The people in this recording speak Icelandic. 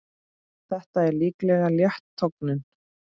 Þetta er líklega létt tognun.